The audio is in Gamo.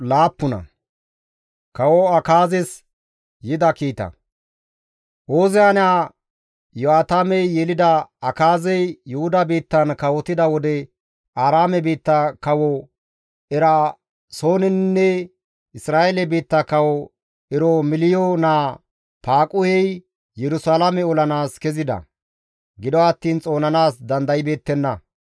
Ooziya naa Iyo7aatamey yelida Akaazey Yuhuda biittan kawotida wode Aaraame biitta kawo Eraasooninne Isra7eele biitta Kawo Eromeliyo naa Faaquhey Yerusalaame olanaas kezida; gido attiin xoonanaas dandaybeettenna.